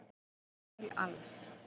Frá Emil Als